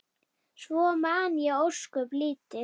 Svo man ég ósköp lítið.